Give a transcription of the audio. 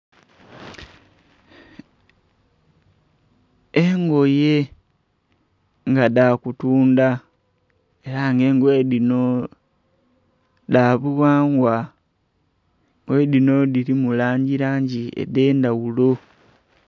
Engoye nga dhakutundha era nga engoye dhinho dhabughangwa, engoye dhinho dhirimu langi langi edhendhaghulo.